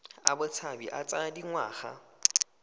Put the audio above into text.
a botshabi a tsaya dingwaga